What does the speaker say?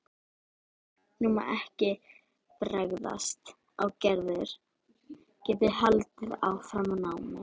Nú má ekki bregðast að Gerður geti haldið áfram námi.